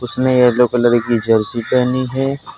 उसने yellow colour की jersey पहनी है।